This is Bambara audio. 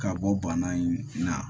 Ka bɔ bana in na